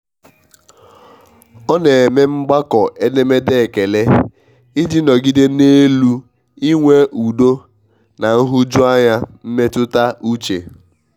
ọ n'eme mgbakọ edemede ekele i ji nọgide n'elu i nwe udo na nhụjuanya mmetụta uche.